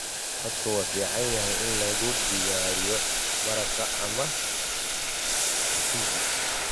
Khadka waa fiican yahay in lagu diyaariyo maraq ama mchuzi.